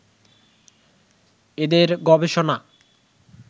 এঁদের গবেষণা